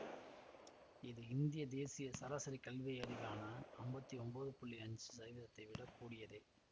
இது இந்திய தேசிய சராசரி கல்வியறிவான அம்பத்தி ஒம்போது புள்ளி அஞ்சு சதவீதம் விட கூடியதே